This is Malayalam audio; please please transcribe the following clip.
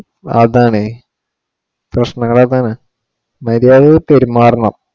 അതാണ് പ്രശ്നങ്ങൾ അതാണ് മര്യാദയ്ക്ക് പെരുമാറണം.